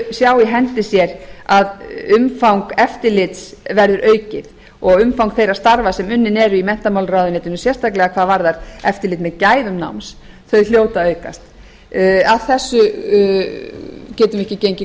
sjá í hendi sér að umfang eftirlits verður aukið og umfang þeirra starfa sem unnin eru í menntamálaráðuneytinu sérstaklega hvað varðar eftirlit með gæðum náms þau hljóta að aukast að þessu getum við ekki gengið